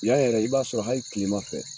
Yan yɛrɛ i b'a sɔrɔ hali kilema fɛ